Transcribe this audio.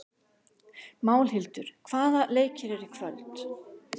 Málhildur, hvaða leikir eru í kvöld?